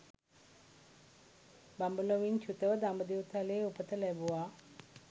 බඹලොවින් චුතව දඹදිව් තලයේ උපත ලැබුවා